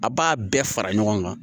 A b'a bɛɛ fara ɲɔgɔn kan